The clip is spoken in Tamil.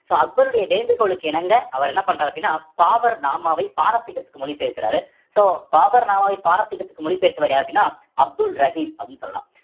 so அக்பருடைய வேண்டுகோளுக்கு இணங்க அவர் என்ன பண்றாரு அப்படின்னா பாபர் நாமாவை பாரசீகத்துக்கு மொழி பெயர்க்கிறாரு so பாபர் நாமாவை பாரசீகத்துக்கு மொழி பெயர்த்தவர் யார் அப்படின்னா அப்துல் ரஹீம் அப்படின்னு சொல்லலாம்